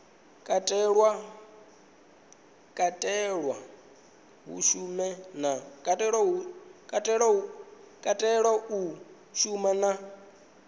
katelwa hu a shuma na